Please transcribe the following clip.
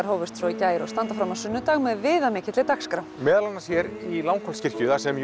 hófust svo í gær og standa fram á sunnudag með dagskrá meðal annars hér í Langholtskirkju þar sem